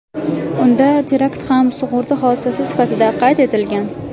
Unda terakt ham sug‘urta hodisasi sifatida qayd etilgan.